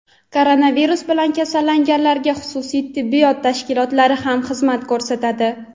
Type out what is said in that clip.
Koronavirus bilan kasallanganlarga xususiy tibbiyot tashkilotlari ham xizmat ko‘rsatadi.